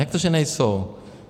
Jak to, že nejsou?